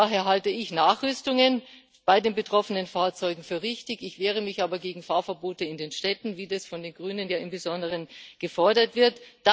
Ich halte daher Nachrüstungen bei den betroffenen Fahrzeugen für richtig, ich wehre mich aber gegen Fahrverbote in den Städten, wie das insbesondere von den Grünen gefordert wird.